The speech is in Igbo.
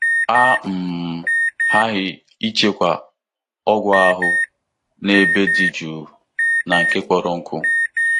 A um ghaghị ịchekwa ọgwụ ahụ n'ebe dị jụụ na nke kpọrọ nkụ.